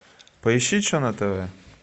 поищи че на тв